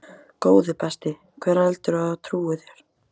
Góði besti, hver heldurðu að trúi þér?